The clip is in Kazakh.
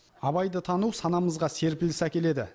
абайды тану санамызға серпіліс әкеледі